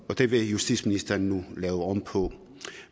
det vil justitsministeren nu lave om på